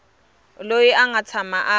loyi a nga tshama a